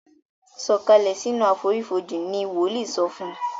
sọ Kalẹ sínú àfonífojì! ní woli sọfún